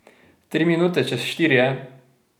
Tri minute čez štiri je.